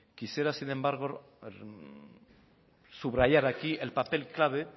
quisiera sin embargo subrayar aquí el papel clave